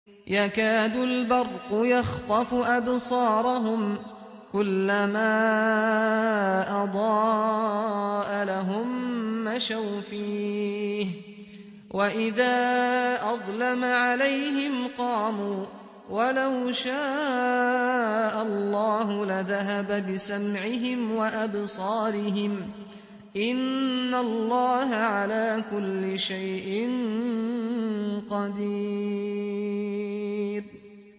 يَكَادُ الْبَرْقُ يَخْطَفُ أَبْصَارَهُمْ ۖ كُلَّمَا أَضَاءَ لَهُم مَّشَوْا فِيهِ وَإِذَا أَظْلَمَ عَلَيْهِمْ قَامُوا ۚ وَلَوْ شَاءَ اللَّهُ لَذَهَبَ بِسَمْعِهِمْ وَأَبْصَارِهِمْ ۚ إِنَّ اللَّهَ عَلَىٰ كُلِّ شَيْءٍ قَدِيرٌ